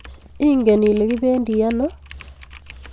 Ingen Ile kibendi ano?